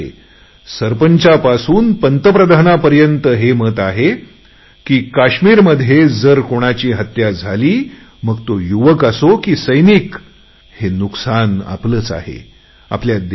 गावप्रमुखांपासून पंतप्रधानांपर्यंत मत आहे की काश्मीरमध्ये जर कोणाला प्राणाला मुकावे लागले मग तो युवक असो किंवा सैनिक हे नुकसान आपलेच आहे आपल्या देशाचे आहे